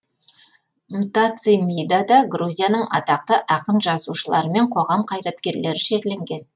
мтацимидада грузияның атақты ақын жазушылары мен қоғам қайраткерлері жерленген